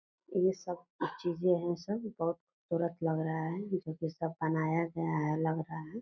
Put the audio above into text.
ये सब कुछ चीजें है सब बहुत तरह का लग रहा है जो की सब बनाया गया है लग रहा है।